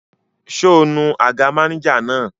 Ṣé o nu àga mánéjà náà?